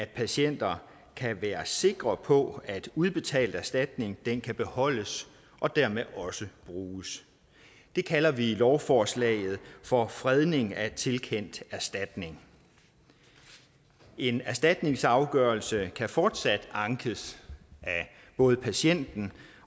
patienter kan være sikre på at en udbetalt erstatning kan beholdes og dermed også bruges det kalder vi i lovforslaget for fredning af tilkendt erstatning en erstatningsafgørelse kan fortsat ankes af både patienten